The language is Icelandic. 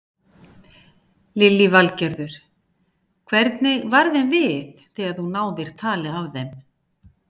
Lillý Valgerður: Hvernig varð þeim við þegar þú náðir tali af þeim?